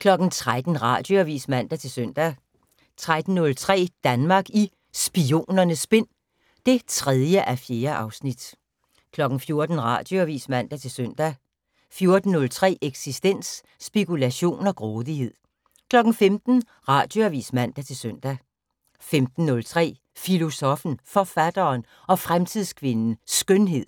13:00: Radioavis (man-søn) 13:03: Danmark i Spionernes Spind (3:4) 14:00: Radioavis (man-søn) 14:03: Eksistens: Spekulation og grådighed 15:00: Radioavis (man-søn) 15:03: Filosoffen, Forfatteren og Fremtidskvinden - Skønhed